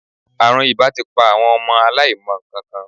Àrùn ìbà ti pa àwọn ọmọ aláìmọ nǹkankan.